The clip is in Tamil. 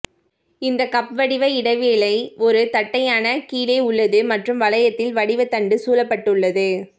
இந்த கப் வடிவ இடைவேளை ஒரு தட்டையான கீழே உள்ளது மற்றும் வளையத்தில் வடிவ தண்டு சூழப்பட்டுள்ளது